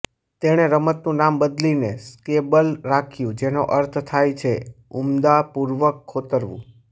તેણે રમતનું નામ બદલીને સ્ક્રેબલ રાખ્યું જેનો અર્થ થાય છે ઉન્માદપૂર્વક ખોતરવું